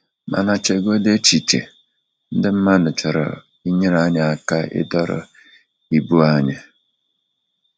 Mana chegodi echiche, ndị mmadụ chọrọ inyere anyị aka ịdọrọ ibu anyị!